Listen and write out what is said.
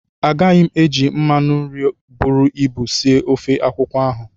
Agaghị m eji mmanụ nri buru ibu esi ofe akwụkwọ ahụ.